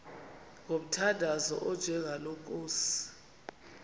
ngomthandazo onjengalo nkosi